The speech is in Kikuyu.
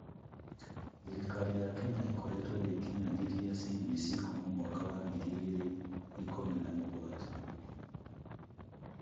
Thirikari ya Kenya ĩkoretwo ĩgĩkinyanĩria CBC kuuma mwaka wa 2017.